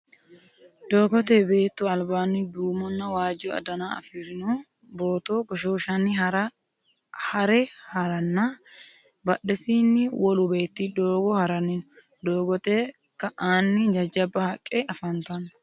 Doogote beettu albanni duumonna waajjo dana afirinno booto goshshoshanni hare haranna badhesinni wolu beetti doogo haranni no. doogote ka'anni jajabba haqqe afantanno.